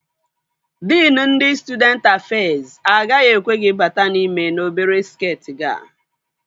Diin ndị Stụdenti Afez agaghị ekwe gị bata n'ime n'obere skeeti gị a